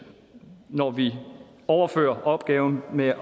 når vi overfører opgaven med at